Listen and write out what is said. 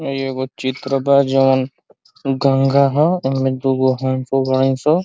इ एगो चित्र बा जोन गंगा ह। एमे दूगो हंसो बाड़ी स।